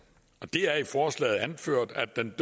og det er i forslaget anført at den